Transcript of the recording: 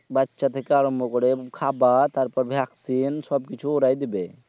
বাচ্চা থেকে আরম্ভ করে খাবার তারপর vaccine সবকিছুই ওরাই দিবে